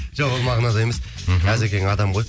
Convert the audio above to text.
жоқ ол мағынада емес мхм әзекең адам ғой